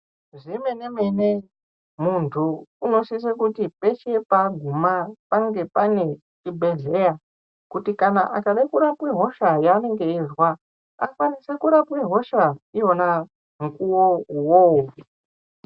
Zvemene mene muntu unisise kuti peshe panenge aguma pange panenge zvibhedhlera kuti akade kurapa hosha yaanenge aizwa akwanise kurapiwa hosha ndiwona mukuwo iwowo